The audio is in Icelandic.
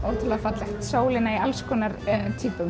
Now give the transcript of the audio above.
margt fallegt sólina í alls konar